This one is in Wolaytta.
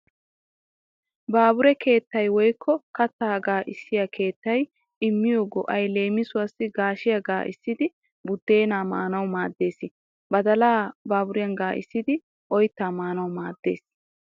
Baabure keettay woykko kattaa gaacciyaa keettay immiyo go'ay leemisuwaassi gaashiyaa gaaccissidi buddeenaa maanawu maaddees. Badalaa baburiyan gaaccissidi oyttaa maanawu maaddees.